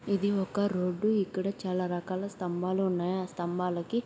ఇది ఒక రోడ్డు ఇక్కడ చాలా రకాల స్థంబాలు ఉన్నాయి. ఆ స్థంబాలకి --